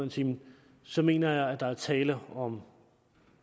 i timen så mener jeg at der er tale om